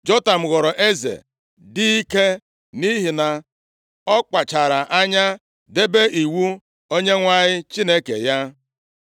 Jotam ghọrọ eze dị ike nʼihi na ọ kpachara anya debe iwu Onyenwe anyị Chineke ya.